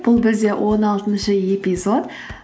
бұл бізде он алтыншы эпизод